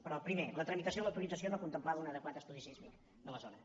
però primer la tramitació de l’autorització no contemplava un adequat estudi sísmic de la zona